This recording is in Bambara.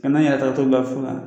Kana yɛrɛ tagatɔ bila fana